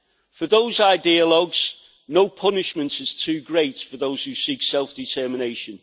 For those ideologues no punishment is too great for those who seek self determination.